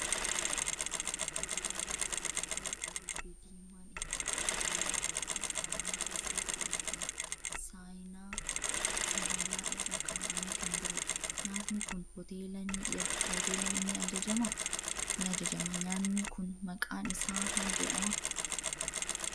Daabboo gogaa lama, ittoo qullubbii diimaan itti kukkutamee jiruu fi qaaraan keessa jiru argina. Saayinaa sibiilaa irra kaa'amee kan jirudha. Nyaatni kun hoteelaa ni ajajama. Nyaatni kun maqaan isaa maal jedhama?